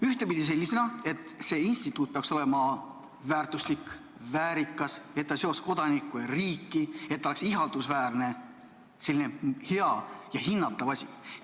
Ühtpidi nii, et see instituut peaks olema väärtuslik, väärikas, et see seoks kodanikku ja riiki, et see oleks ihaldusväärne – selline hea ja hinnatav asi.